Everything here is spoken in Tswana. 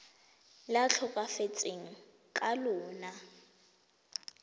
le a tlhokafetseng ka lona